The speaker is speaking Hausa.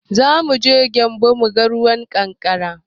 Zamuje gyambu muga ruwan ƙanƙara